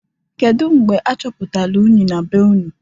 Kedu mgbe achọpụtalụ unyi na be unu?